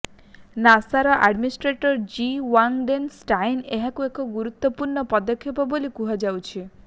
ନାସର administrator Jim Bridenstine ଏହାକୁ ଏକ ଗୁରୁତ୍ୱପୂର୍ଣ୍ଣ ପଦକ୍ଷେପ ବୋଲି କୁହାଯାଉଛି